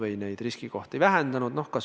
Me oleme ka riskikohti vähendanud.